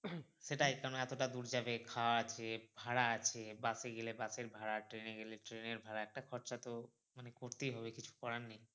সেটাই কারন এতোটা দূর যাবে খাওয়া আছে ভাড়া আছে bus এ গেলে bus এর ভাড়া train এ গেলে train এর ভাড়া একটা খরচা তো মানে করতেই হবে কিছু করার নেই